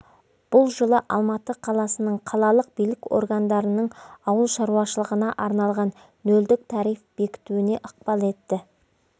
бұл жылы алматы қаласының қалалық билік орындарының ауыл шаруашылығына арналған нөлдік тариф бекітуіне ықпал етті